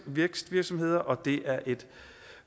vækstvirksomheder og det er et